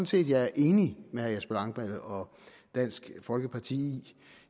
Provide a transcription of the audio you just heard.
set jeg er enig med herre jesper langballe og dansk folkeparti i